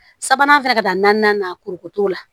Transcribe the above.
Sabanan fɛnɛ ka taa naani na kuruko t'o la